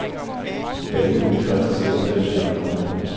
Banen vil koste cirka fem milliarder kroner.